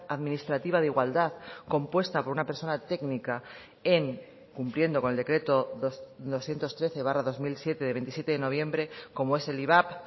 administrativa de igualdad compuesta por una persona técnica en cumpliendo con el decreto doscientos trece barra dos mil siete de veintisiete de noviembre como es el ivap